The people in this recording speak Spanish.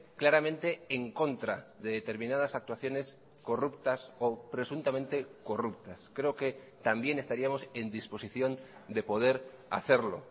claramente en contra de determinadas actuaciones corruptas o presuntamente corruptas creo que también estaríamos en disposición de poder hacerlo